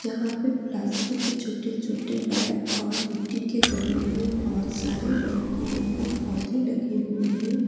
यहां पे प्लास्टिक के छोटे छोटे बैग और मिट्टी के गमलों में बहोत सारे रंग बिरंगे पौधे लगे हुए हैं।